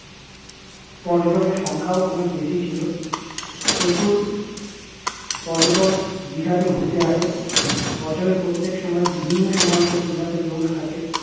পর্যটকের সংখ্যাও অনেক বেশিই ছিল প্রচুর পর্যটক দীঘাতে ঘুরতে আসে বছরের প্রত্যেক সময় বিভিন্ন সময় দিঘাতে লোক থাকে